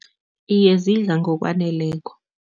Iye, zidla ngokwaneleko.